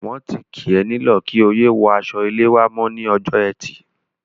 Wọ́n ti kì ọ́ nílọ̀ kí o yé wọ aṣọ-ilé wá mọ́ ní ọjọ́ Ẹtì.